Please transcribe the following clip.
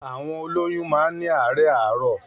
Àwọn òlòyún mà ni àaárẹ̀ àrọ